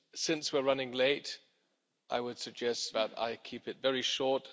Since we're running late, I would suggest that I keep it very short.